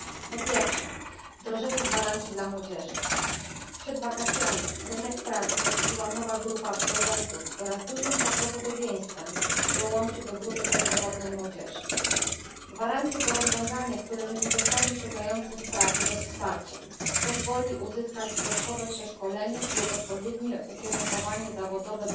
Po pierwsze, wdrożenie gwarancji dla młodzieży. Przed wakacjami rynek pracy zasiliła nowa grupa absolwentów, która z dużym prawdopodobieństwem dołączy do grupy bezrobotnej młodzieży. Gwarancje to rozwiązanie, które nie pozostawi szukających pracy bez wsparcia. Pozwoli uzyskać osobie bezrobotnej dodatkowe przeszkolenie lub odpowiednie ukierunkowanie zawodowe.